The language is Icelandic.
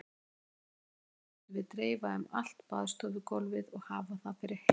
Toginu mættum við dreifa um allt baðstofugólfið og hafa það fyrir hey.